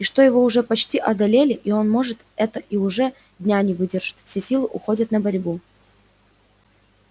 и что его уже почти одолели и он может это и уже дня не выдержит все силы уходят на борьбу